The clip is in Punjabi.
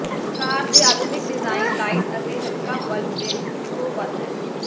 ਕਾਰ ਦੇ ਆਧੁਨਿਕ ਡਿਜ਼ਾਇਨ ਲਾਇਟ ਅਤੇ ਹਲਕਾ ਬਲਬ ਦੇ ਸੌ ਵੱਧ ਹੈ